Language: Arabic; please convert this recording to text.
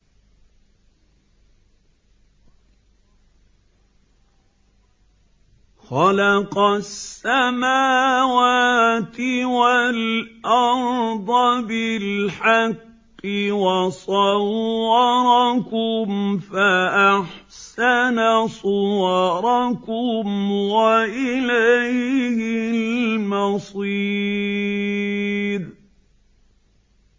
خَلَقَ السَّمَاوَاتِ وَالْأَرْضَ بِالْحَقِّ وَصَوَّرَكُمْ فَأَحْسَنَ صُوَرَكُمْ ۖ وَإِلَيْهِ الْمَصِيرُ